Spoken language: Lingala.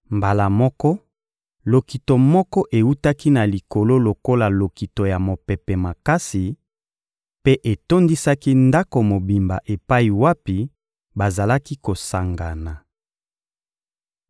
Mbala moko, lokito moko ewutaki na likolo lokola lokito ya mopepe makasi, mpe etondisaki ndako mobimba epai wapi bazalaki kosangana.